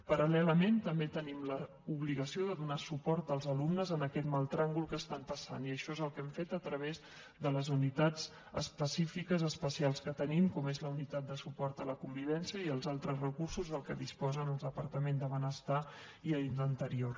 paral·lelament també tenim l’obligació de donar suport als alumnes en aquest mal tràngol que estan passant i això és el que hem fet a través de les unitats específiques especials que tenim com són la unitat de suport a la convivència i els altres recursos de què disposen el departament de benestar i el d’interior